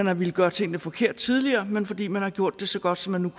har villet gøre tingene forkert men fordi man har gjort det så godt som man nu